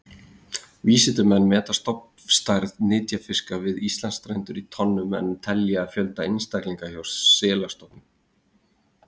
Vísindamenn meta stofnstærð nytjafiska við Íslandsstrendur í tonnum en telja fjölda einstaklinga hjá selastofnum.